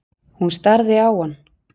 Hún starði á hann.